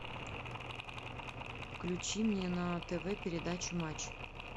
включи мне на тв передачу матч